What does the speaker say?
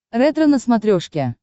ретро на смотрешке